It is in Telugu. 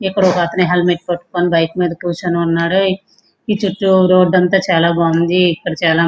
ఇక్కడ ఒక అతను హెల్మెట్ పట్టుకుని బైక్ మీద కూర్చుని ఉన్నాడు. ఇక్కడ చుట్టు రోడ్డంతా చాలా బాగుంది. ఇక్కడ చాలా --